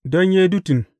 Don Yedutun.